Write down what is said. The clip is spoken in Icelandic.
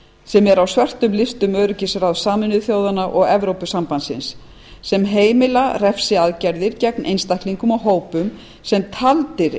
sem eru á svörtum listum öryggisráðs sameinuðu þjóðanna og evrópusambandsins sem heima refsiaðgerðir gegn einstaklingum og hópum sem taldir